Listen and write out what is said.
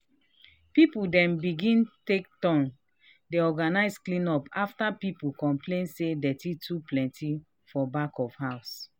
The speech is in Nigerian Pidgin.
people dem begin take turn dey organize clean up after people complain say dirty too plenty for back of house.